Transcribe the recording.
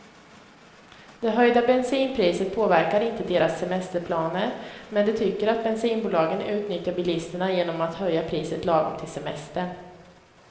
Det höjda bensinpriset påverkar inte deras semesterplaner, men de tycker att bensinbolagen utnyttjar bilisterna genom att höja priset lagom till semestern.